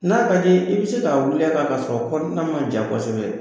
N'a ka d'i ye, i bɛ se k'a wuli a kan k'a sɔrɔ kɔnɔna ma ja kosɛbɛ.